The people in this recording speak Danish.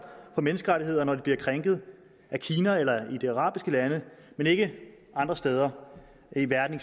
for menneskerettigheder når de bliver krænket af kina eller af de arabiske lande men ikke andre steder i verden